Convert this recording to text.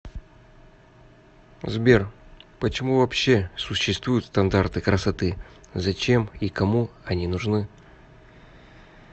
сбер почему вообще существуют стандарты красоты зачем и кому они нужны